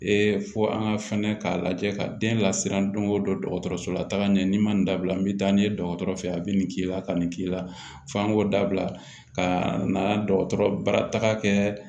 fo an ka fɛnɛ k'a lajɛ ka den lasiran don o don dɔgɔtɔrɔso la taga ɲɛ n'i ma nin dabila n bɛ taa n'i ye dɔgɔtɔrɔ fɛ yen a bɛ nin k'i la a ka nin k'i la f'a k'o dabila ka na dɔgɔtɔrɔ bara taga kɛ